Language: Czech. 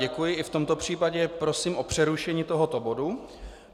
Děkuji, i v tomto případě prosím o přerušení tohoto bodu.